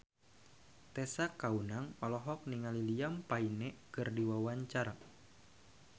Tessa Kaunang olohok ningali Liam Payne keur diwawancara